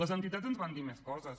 les entitats ens van dir més coses